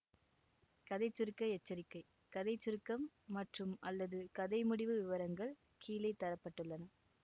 கதை சுருக்க எச்சரிக்கை கதை சுருக்கம் மற்றும்அல்லது கதை முடிவு விவரங்கள் கீழே தர பட்டுள்ளன